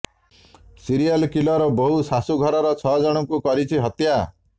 serial killer ବୋହୂ ଶାଶୂ ଘରର ଛଅ ଜଣଙ୍କୁ କରିଛି ହତ୍ୟା